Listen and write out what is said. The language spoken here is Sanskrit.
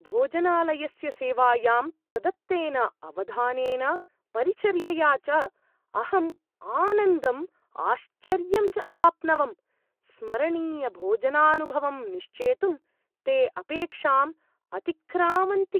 भोजनालयस्य सेवायां प्रदत्तेन अवधानेन, परिचर्यया च अहम् आनन्दम् आश्चर्यं च अवाप्नवम्। स्मरणीयभोजनानुभवं निश्चेतुं ते अपेक्षाम् अतिक्रामन्ति।